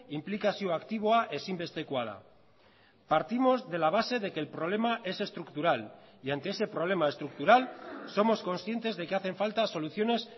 inplikazio aktiboa ezinbestekoa da partimos de la base de que el problema es estructural y ante ese problema estructural somos conscientes de que hacen falta soluciones